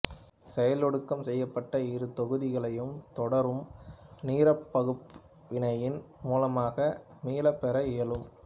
செயலொடுக்கம் செய்யப்பட்ட இரு தொகுதிகளையும் தொடரும் நீராற்பகுப்பு வினையின் மூலமாக மீளப்பெற இயலும்